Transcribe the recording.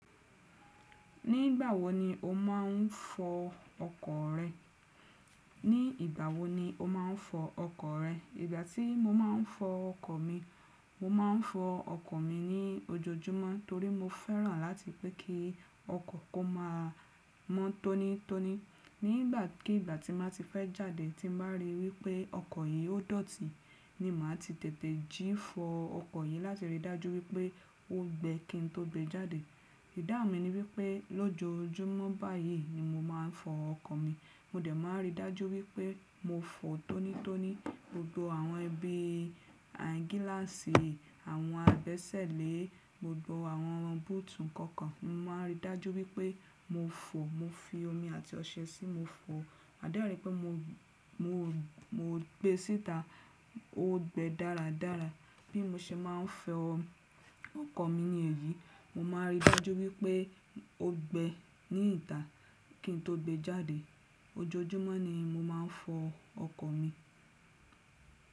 Ní ìgbà wo ni o máà ń fọ ọkọ̀ rẹ? Ní ìgbà wo ni o máa ń fọ ọkọ̀ rẹ? Ìgbà tí mo máa ń fọ ọkọ̀ mi, mo máà ń fọ ọkọ̀ mi ní ojoojúmọ́ torí mo fẹ́ràn láti rí pé kí ọkọ̀ kó má a mọ́ tónítóní. Nígbà ki ìgbà tí máa ti fẹ́ jáde tí mo bá ríi wípé ọkọ̀ yìí ó dọ̀tí, ni màá ti tètè jí fọ ọkọ̀ yìí láti rí dájú wípé ó gbẹ kí n tó gbe jáde. Ìdáun mi ni wípé lójoojúmọ́ báyìí ni mo máa ń fọ ọkọ̀ mi. Mo dẹ̀ máa ń rí dájú wípé mo fọ̀ tónítóní gbogbo àwọn ibi gíláàsì, àwọn agbẹ́sẹ́lẹ́, gbogbo àwọn búùtù kọ̀ọ̀kan. Mo máà ń rí dájú wípé mo fọ, mo fi omi àti ọṣẹ sí i, mo fọ. Ma dẹ́rì pé mo, mo gbé síta ó gbẹ dáradára. Bí mo ṣe máa ń fọ ọkọ̀ mi nì eyí, mo máa ń rí dájú wípé ó gbẹ ní ìta kí n tó gbe jáde. Ojoojúmọ́ ni mo máa ń fọ ọkọ̀ mi.